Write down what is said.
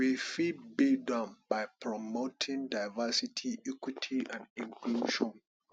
we fit build am by promoting diversity equity and inclusion